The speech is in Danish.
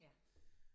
Ja